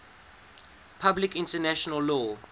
public international law